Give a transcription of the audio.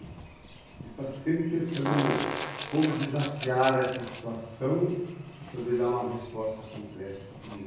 A gente está sempre pensando como desafiar essa situação e poder dar uma resposta concreta para tudo isso.